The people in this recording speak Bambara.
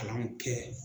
Kalan kɛ